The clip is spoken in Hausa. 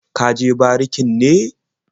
Ka je barikin ne?